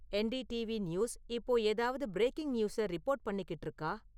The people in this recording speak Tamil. என்டிடிவி நியூஸ் இப்போ ஏதாவது பிரேக்கிங் நியூசை ரிப்போர்ட் பண்ணிக்கிட்டு இருக்கா?